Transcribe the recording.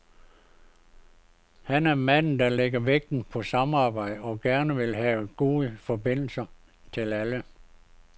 Han er manden, der lægger vægten på samarbejde og gerne vil have gode forbindelser til alle.